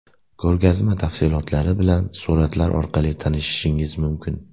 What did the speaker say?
Ko‘rgazma tafsilotlari bilan suratlar orqali tanishishingiz mumkin.